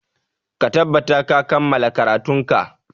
Ka tattabata ka kammala karatunka!